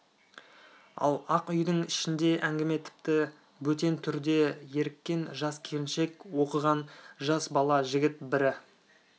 ал ақ үйдің ішінде әңгіме тіпті бөтен түрде еріккен жас келіншек оқыған жас бала жігіт бірі